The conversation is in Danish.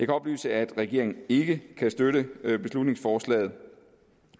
oplyse at regeringen ikke kan støtte beslutningsforslaget